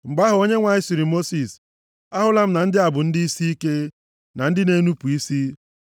Mgbe ahụ, Onyenwe anyị sịrị Mosis, “Ahụla m na ndị a bụ ndị isiike, na ndị na-enupu isi.